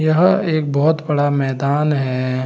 यह एक बोहोत बड़ा मैदान है।